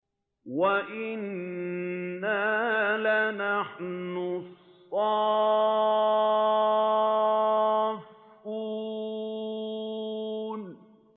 وَإِنَّا لَنَحْنُ الصَّافُّونَ